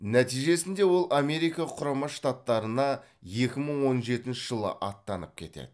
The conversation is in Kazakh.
нәтижесінде ол америка құрама штаттарына екі мың он жетінші жылы аттанып кетеді